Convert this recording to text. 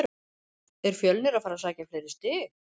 Er Fjölnir að fara að sækja fleiri stig?